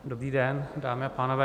Dobrý den, dámy a pánové.